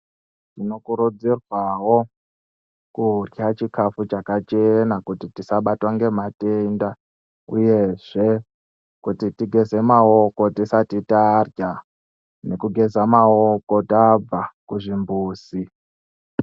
Tinokurudzirwawo kurya chikafu chakachena kuti tisabatwa ngematenda uyezve kuti tigeze maoko tisati tarya nekugeze maoko tabva kuzvimbuzi.